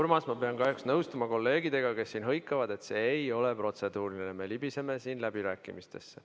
Urmas, ma pean kahjuks nõustuma kolleegidega, kes siin hõikavad, et see ei ole protseduuriline küsimus, vaid me libiseme läbirääkimistesse.